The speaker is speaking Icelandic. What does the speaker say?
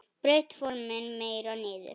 Braut formin meira niður.